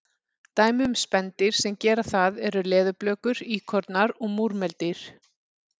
Dæmi um spendýr sem gera það eru leðurblökur, íkornar og múrmeldýr.